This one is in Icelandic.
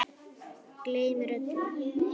Gleymir öllu.